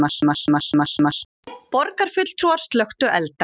Borgarfulltrúar slökktu elda